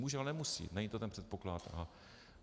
Může, ale nemusí, není to ten předpoklad.